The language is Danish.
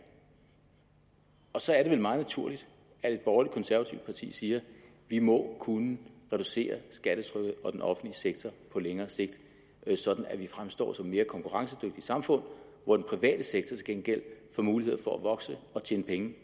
og så er det da meget naturligt at et borgerligt konservativt parti siger vi må kunne reducere skattetrykket og den offentlige sektor på længere sigt sådan at vi fremstår som et mere konkurrencedygtigt samfund hvor den private sektor til gengæld får muligheder for at vokse og tjene penge